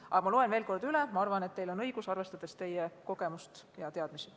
Ma loen selle artikli veel kord üle, aga arvan, et teil on õigus, arvestades teie kogemust ja teadmisi.